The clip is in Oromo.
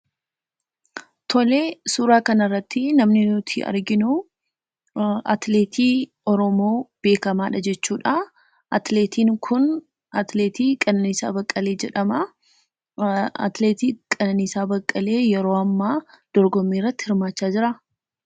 Suuraa kanarratti namni nuti arginu atileetii Oromoo beekamaadha jechuudha. Atileetiin kun atileetii Abbabee Biqilaa jedhamama. Atileetii Abbabee Biqilaa yeroo ammaa dorgommii irratti hirmaachaa hin jiru.